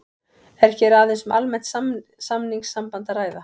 Er hér aðeins um almennt samningssamband að ræða.